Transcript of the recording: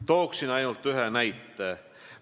Tooksin ainult ühe näite.